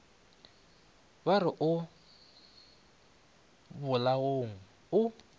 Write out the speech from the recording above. ba re o bolaong o